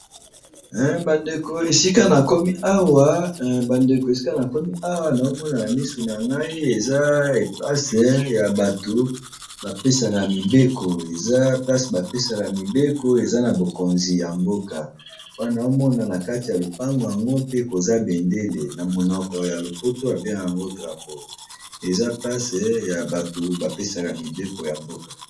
Bandeko esika na komi awa na zomonana misu na ngai eza place ya bato bapesaka mibeko, eza place bapesaka mibeko eza na bokonzi ya mboka po nazo mona na kati ya lopango yango pe, koza bendele na monoko ya lopoto abenga yango drapeau, eza place ya bato bapesaka mibeko ya mboka.